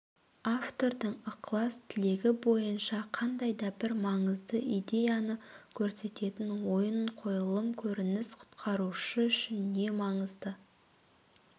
автордың ықылас-тілегі бойынша қандай-да бір маңызды идеяны көрсететін ойын қойылым көрініс құтқарушы үшін не маңызды